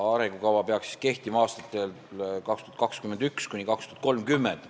Arengukava peaks kehtima aastatel 2021–2030.